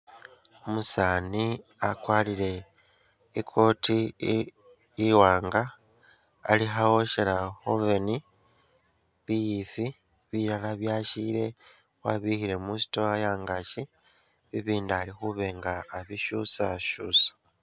Umusani wakwarile i'coat i'iwanga Alikha woshela khu'oven bifii, bilala byashile wabibikhile mu'store yangachi , bibindi alikhubishusashusa